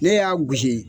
Ne y'a gosi